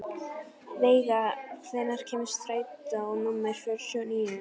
Veiga, hvenær kemur strætó númer fjörutíu og níu?